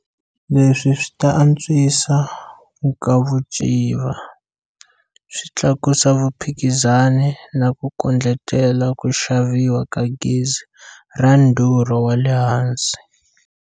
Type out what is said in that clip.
Leswi swi ta antswisa nkavuciva, swi tlakusa vuphikizani na ku kondletela ku xaviwa ka gezi ra ndhurho wa le hansi.